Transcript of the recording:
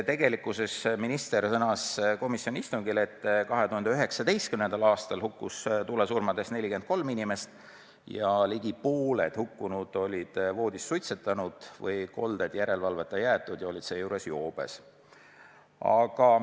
Minister sõnas komisjoni istungil, et 2019. aastal hukkus tulekahjus 43 inimest ja ligi pooled neist olid voodis suitsetanud või joobes olles kolde järelevalveta jätnud.